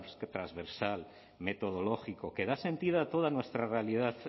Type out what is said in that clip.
transversal metodológico que da sentido a toda nuestra realidad